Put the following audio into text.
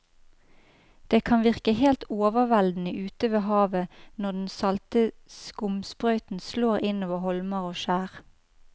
Det kan virke helt overveldende ute ved havet når den salte skumsprøyten slår innover holmer og skjær.